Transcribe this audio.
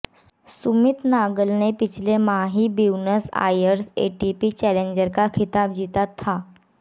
सुमित नागल ने पिछले माह ही ब्यूनस आयर्स एटीपी चैलेंजर का खिताब जीता था